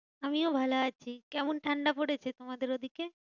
আমিও ভালো আছি। কেমন ঠান্ডা পড়েছে তোমাদের ওদিকে?